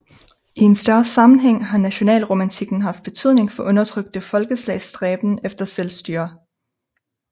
I en større sammenhæng har nationalromantikken haft betydning for undertrykte folkeslags stræben efter selvstyre